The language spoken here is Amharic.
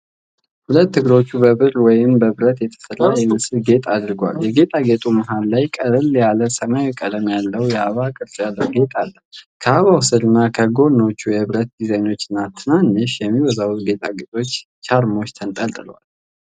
ሁለቱም እግሮች በብር ወይም በብረት የተሰራ የሚመስል ጌጥ አድርገዋል። የጌጣጌጡ መሃል ላይ ቀለል ያለ ሰማያዊ ቀለም ያለው የአበባ ቅርጽ ያለው ጌጥ አለ። ከአበባው ስር እና ከጎኖቹ የብረት ዲዛይኖች እና ትናንሽ፣ የሚወዛወዙ ጌጣጌጦች ቻርሞች ተንጠልጥለዋል።